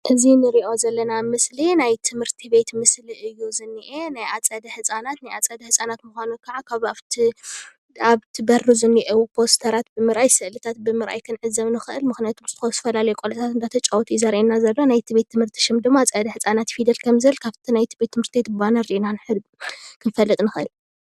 እዚ እንሪኦ ዘለና ምስሊ ናይ ትምህርቲ ቤት ምስሊ እዩ ዝኒአ ። ናይ ኣፀደ ህፃናት ናይ ኣፀደ ህፃናት ምዃኑ ካዓ ካብ ኣብ እቲ ኣብቲ ብሪ ዝኒሄው ፖስተራት ብምርኣይ ስእሊ ብርኣይ ክንዕዘብ ንኽእል። ምክንያቱ ዝተፈላለዩ ቆልዑ እናተጫወቱ እዩ ዘርኤና ዘሎ። ናይቲ ቤት ትምህርቲ ሽም ድማ ኣፀደ ህፃናት ፊደል ከም ዝብል ካፍቲ ናይ ትምህርቲ ቤት ባነር ሪኢና ክንፈልጥ ንኽእል።